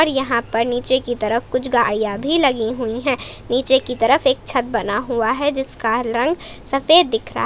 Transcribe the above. और यहां पर नीचे की तरफ कुछ गाड़ियां भी लगी हुई है नीचे की तरफ एक छत बना हुआ है जिसका रंग सफेद दिख रहा--